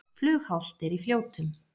Flughált er í Fljótum